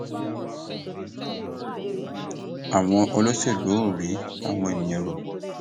àwọn olóṣèlú ò rí tàwọn èèyàn rò